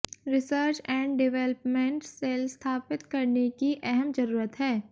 research and development cell स्थापित करने की अहम जरूरत है